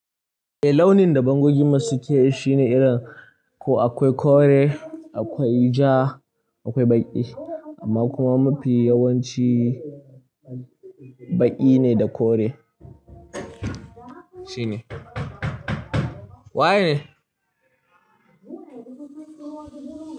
Eh launin da bangoginmu su ke shine irin ko akwai kore, akwai ja, akwai baƙi amma kuma mafi yawanci baƙi ne da kore. Shine. Waye ne?